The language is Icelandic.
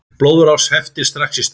Blóðrás heftir strax í stað.